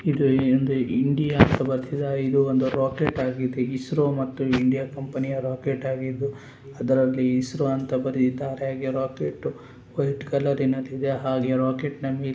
ಇದು ಒಂದು ಇಂಡಿಯಾ ಅಂತ ಬರೆದಿದ್ದಾರೆ ಇದು ಒಂದು ರಾಕೆಟ್ ಹಾಗಿದೆ ಇಸ್ರೋ ಮತ್ತು ಇಂಡಿಯಾ ಕಂಪೆನಿಯ ರಾಕೆಟ್ ಹಾಗಿದ್ದು ಅದರಲ್ಲಿ ಇಸ್ರೋ ಅಂತ ಬರೆದಿದ್ದಾರೆ ಹಾಗೆ ರಾಕೆಟ್ ವೈಟ್ ಕಲರ್ ನಲ್ಲಿ ಇದೆ ಹಾಗೆ ರಾಕೆಟ್ನಾ ಮೇಲೆ--